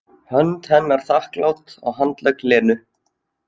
Hönd hennar þakklát á handlegg Lenu.